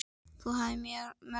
Þú hafðir mörg talent.